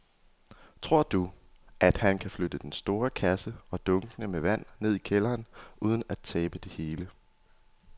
Tror du, at han kan flytte den store kasse og dunkene med vand ned i kælderen uden at tabe det hele?